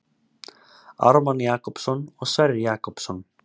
Ármann Jakobsson og Sverrir Jakobsson.